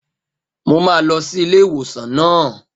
Mo máa lọ sí ilé ìwòsàn naa